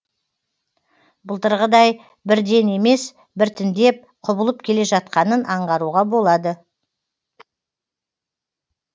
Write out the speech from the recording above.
былтырғыдай бірден емес біртіндеп құбылып келе жатқанын аңғаруға болады